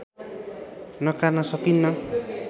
नकार्न सकिन्न